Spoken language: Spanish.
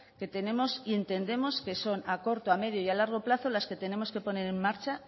que tenemos y entendemos que son a corto a medio y a largo plazo las que tenemos que poner en marcha